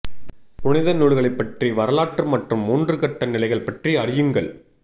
புனித நூல்களைப் பற்றிய வரலாற்று மற்றும் மூன்று கட்ட நிலைகள் பற்றி அறியுங்கள்